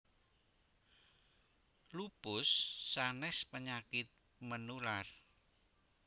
Lupus sanes penyakit menular